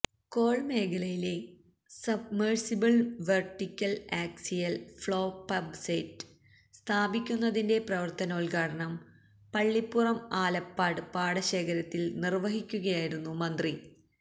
കോൾമേഖലയിലെ submersible vertical axial flow pump set സ്ഥാപിക്കുന്നതിന്റെ പ്രവർത്തനോദ്ഘാടനം പള്ളിപ്പുറം ആലപ്പാട് പാടശേഖരത്തിൽ നിർവഹിക്കുകയായിരുന്നു മന്ത്രി